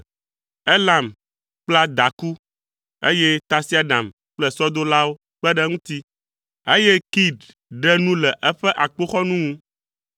Elam kpla daku, eƒe tasiaɖam kple sɔdolawo kpe ɖe eŋuti, eye Kir ɖe nu le eƒe akpoxɔnu ŋu.